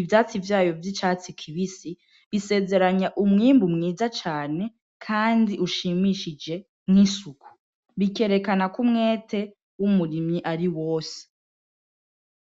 ivyatsi vyayo vy'icatsi kibisi bisezeranya umwimbu mwiza cane, kandi ushimishije nk'isuku bikerekanako umwete w'umurimyi ari wose.